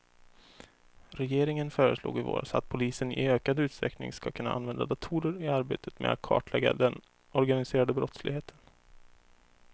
Regeringen föreslog i våras att polisen i ökad utsträckning ska kunna använda datorer i arbetet med att kartlägga den organiserade brottsligheten.